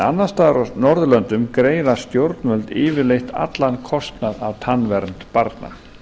annars staðar á norðurlöndum greiða stjórnvöld yfirleitt allan kostnað af tannvernd barna